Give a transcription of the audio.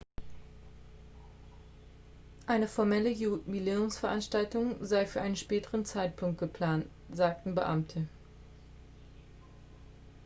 eine formelle jubiläumsveranstaltung sei für einen späteren zeitpunkt geplant sagten beamte